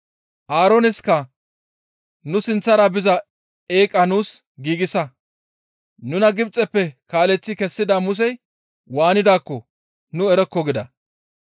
Aarooneska, ‹Nu sinththara biza eeqa nuus giigsa! Nuna Gibxeppe kaaleththi kessida Musey waanidaakko nu erokko› gida.